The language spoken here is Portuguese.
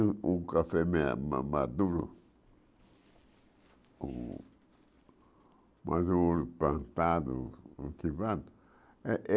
O o café me ma maduro o maduro, plantado, cultivado. É é